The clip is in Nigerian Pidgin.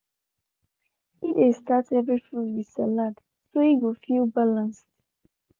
e dey start every food with salad so e go feel balanced.